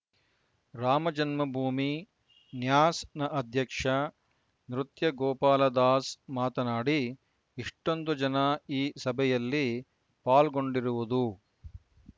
ರಾಮಜನ್ಮಭೂಮಿ ನ್ಯಾಸ್‌ನ ಅಧ್ಯಕ್ಷ ನೃತ್ಯ ಗೋಪಾಲದಾಸ್‌ ಮಾತನಾಡಿ ಇಷ್ಟೊಂದು ಜನ ಈ ಸಭೆಯಲ್ಲಿ ಪಾಲ್ಗೊಂಡಿರುವುದು